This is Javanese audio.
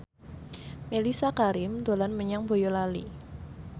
Mellisa Karim dolan menyang Boyolali